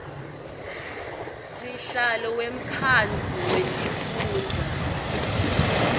sihlalo wemkhandlu wetifundza